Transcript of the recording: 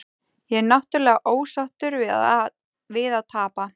Ég er náttúrulega ósáttur við að tapa.